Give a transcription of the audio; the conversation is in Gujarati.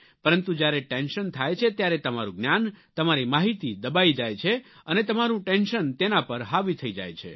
પરંતુ જ્યારે ટેન્શન થાય છે ત્યારે તમારું જ્ઞાન તમારી માહિતી દબાઈ જાય છે અને તમારું ટેન્શન તેના પર હાવી થઈ જાય છે